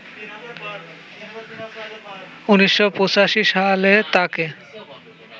১৯৮৫ সালে তাকে